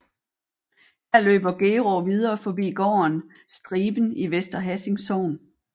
Her løber Gerå videre forbi gården Striben i Vester Hassing Sogn